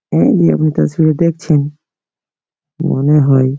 এই নিয়মিত ছবি দেখছেন মনে হয়।